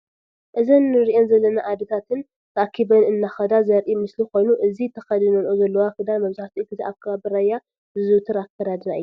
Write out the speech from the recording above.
እዘን እነሪኢ ዘለና አዴታትን ተአኪበን እናከዳ ዘርኢ ምስሊ ኮይኑ እዚ ተከዲኖኖኦ ዘለዎ ክዳን መብዛሕቱኡ ግዜ አብ ከባቢ ራያ ዝዝውተር አከዳድና እዩ ።